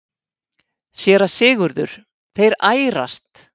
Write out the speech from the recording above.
SÉRA SIGURÐUR: Þeir ærast!